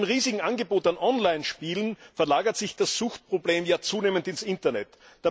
Seit dem riesigen Angebot an Online Spielen verlagert sich das Suchtproblem ja zunehmend ins Internet.